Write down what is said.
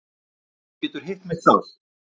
Þú getur hitt mig þar.